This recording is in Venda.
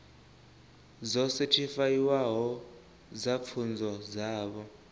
dzo sethifaiwaho dza pfunzo dzavho